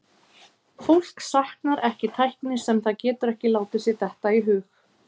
Fólk saknar ekki tækni sem það getur ekki látið sér detta í hug.